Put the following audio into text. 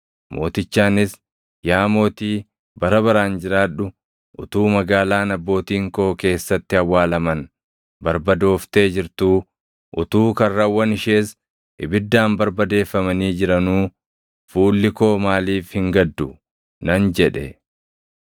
mootichaanis, “Yaa mootii bara baraan jiraadhu! Utuu magaalaan abbootiin koo keessatti awwaalaman barbadooftee jirtuu, utuu karrawwan ishees ibiddaan barbadeeffamanii jiranuu fuulli koo maaliif hin gaddu?” nan jedhe.